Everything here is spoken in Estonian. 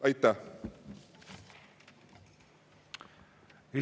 Aitäh!